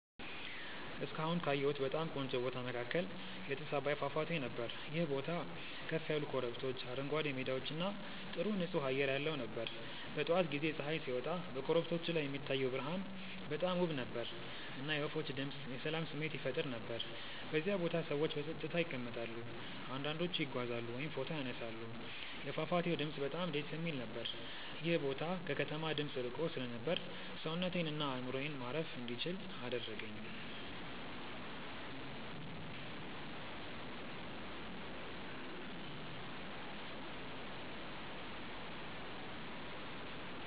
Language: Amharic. እስካሁን ካየሁት በጣም ቆንጆ ቦታ መካከል የጥስ አባይ ፏፏቴ ነበር። ይህ ቦታ ከፍ ያሉ ኮረብቶች፣ አረንጓዴ ሜዳዎች እና ጥሩ ንፁህ አየር ያለው ነበር። በጠዋት ጊዜ ፀሐይ ሲወጣ በኮረብቶቹ ላይ የሚታየው ብርሃን በጣም ውብ ነበር፣ እና የወፎች ድምፅ የሰላም ስሜት ይፈጥር ነበር። በዚያ ቦታ ሰዎች በጸጥታ ይቀመጣሉ፣ አንዳንዶቹ ይጓዛሉ ወይም ፎቶ ይነሳሉ። የፏፏቴው ድምፅ በጣም ደስ የሚል ነበር። ይህ ቦታ ከከተማ ድምፅ ርቆ ስለነበር ሰውነቴን እና አእምሮዬን ማረፍ እንዲችል አደረገኝ።